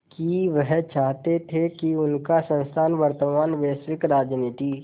कि वह चाहते थे कि उनका संस्थान वर्तमान वैश्विक राजनीति